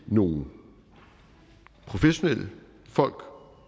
nogle professionelle folk